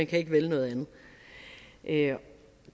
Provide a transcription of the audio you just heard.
kan vælge noget andet